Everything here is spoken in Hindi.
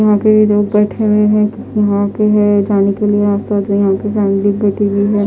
अभी पे लोग बैठे हुए है यहाँ पे है ये जाने के लिए उनकी फॅमिली भी बैठी हुई है।